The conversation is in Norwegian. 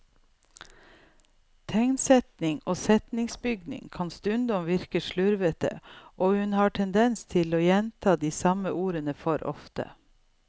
Tegnsetting og setningsbygning kan stundom virke slurvete, og hun har en tendens til å gjenta de samme ordene for ofte.